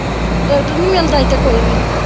doctor ਨੀ ਮਿਲਦਾ ਇੱਥੇ ਕੋਈ ਵੀ